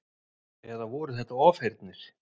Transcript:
Eða voru þetta ofheyrnir?